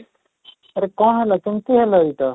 ଆରେ କ'ଣ ହେଲା, କେମିତି ହେଲା ଏଇଟା?